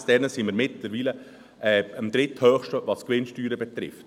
Gemäss diesen Zahlen sind wir am dritthöchsten, was die Gewinnsteuern betrifft.